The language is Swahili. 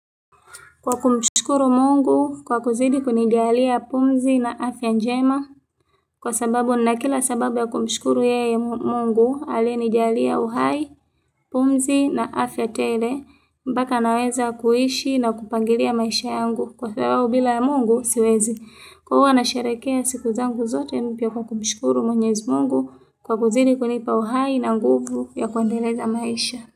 Kwa kumshkuru mungu kwa kuzidi kunijalia pumzi na afya njema kwa sababu na kila sababu ya kumshkuru yeye mungu aliye ni jalia uhai, pumzi na afya tele mpaka naweza kuishi na kupangilia maisha yangu kwa sababu bila mungu siwezi. Kwa huwa na sherehekea siku zangu zote mpya kumshkuru mwenyezi mungu kwa kuzidi kunipa uhai na nguvu ya kuendeleza maisha.